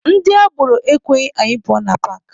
Ndị agboro ekweghị anyị pụọ na paakị.